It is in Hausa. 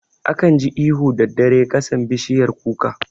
Akan ji ihu daddare kasan bishiyar kuka